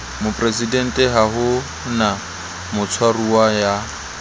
moporesidenteha ho na motshwaruwa ya